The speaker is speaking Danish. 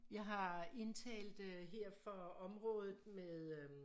Jeg har indtalt øh her for området med øh